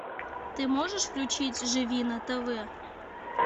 ты можешь включить живи на тв